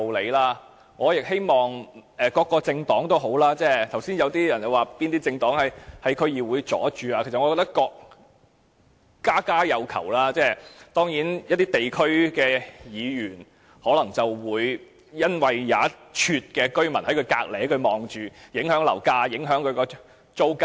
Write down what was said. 剛才有議員說某些政黨曾阻礙政府在區議會的工作，其實我覺得家家有求，一些區議員當然可能會因為有居民認為興建龕場會影響樓價及租金，因而作出阻撓。